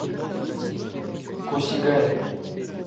косигая